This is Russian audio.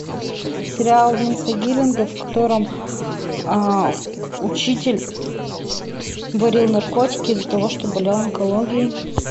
сериал винса гиллигана в котором учитель варил наркотики из за того что болел онкологией